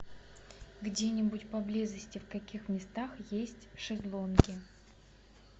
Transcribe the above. где нибудь поблизости в каких местах есть шезлонги